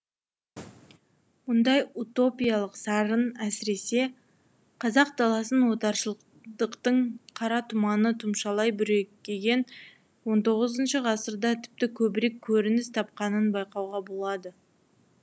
мұндай утопиялық сарын әсіресе қазақ даласын отаршылдықтың қара тұманы тұмшалай бүрекеген он тоғызыншы ғасырда тіпті көбірек көрініс тапқанын байқауға болады